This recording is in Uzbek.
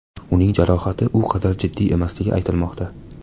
Uning jarohati u qadar jiddiy emasligi aytilmoqda.